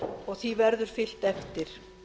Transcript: og því verður fylgt eftir